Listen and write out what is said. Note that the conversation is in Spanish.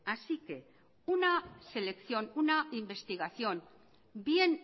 así que una selección una investigación bien